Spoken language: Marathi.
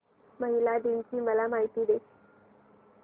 महिला दिन ची मला माहिती दे